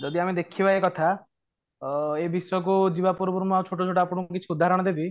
ଯଦି ଆମେ ଦେଖିବା ଏଇ କଥା ଅ ଏଇ ବିଷୟକୁ ଯିବା ପୂର୍ବରୁ ମୁଁ ଆଉ ଛୋଟ ଛୋଟ ଆପଣଙ୍କୁ କିଛି ଉଦାହରଣ ଦେବି